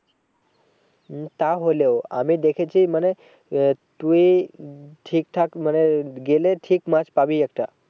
হম তা হলেও আমি দেখেছি মানে আহ তুই উম ঠিক ঠাক মানে গেলে ঠিক মাছ পাবিই একটা